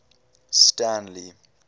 stanley